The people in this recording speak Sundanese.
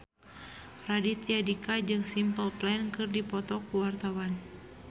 Raditya Dika jeung Simple Plan keur dipoto ku wartawan